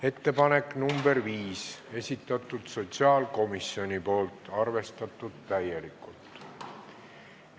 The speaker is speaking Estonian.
Ettepanek nr 5, esitanud sotsiaalkomisjon, arvestatud täielikult.